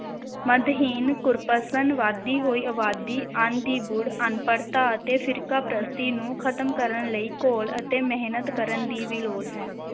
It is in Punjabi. ਮਦਹੀਨ, ਕੁਰਪਸ਼ਨ, ਵੱਧਦੀ ਹੋਈ ਆਬਾਦੀ, ਅੰਨ ਦੀ ਬੁੜ, ਅਨਪੜਤਾ ਅਤੇ ਫ਼ਿਰਕਾਪ੍ਰਸਤੀ ਨੂੰ ਖਤਮ ਕਰਨ ਲਈ ਘੋਲ ਅਤੇ ਮਿਹਨਤ ਕਰਨ ਦੀ ਵੀ ਲੋੜ ਹੈ।